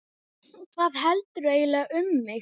Hvað heldurðu eiginlega um mig!